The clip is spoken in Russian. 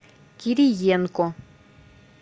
кириенко